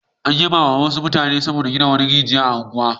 An yabawa wasu mutane saboda gina rijiya a wata unguwa.